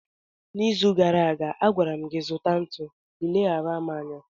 n'izu gara aga, a gwara m gị, zụta ntu, ị leghaara m anya